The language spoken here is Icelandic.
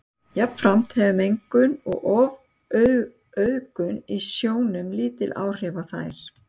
Jafnframt hefur mengun og ofauðgun í sjónum lítil áhrif á þær.